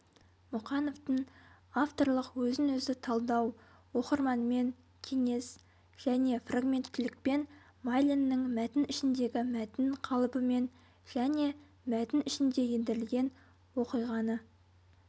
мұқановтың авторлық өзін-өзі талдау оқырманмен кеңес және фрагменттілікпен майлиннің мәтін ішіндегі мәтін қалыбымен және мәтін ішіне ендірілген оқиғаны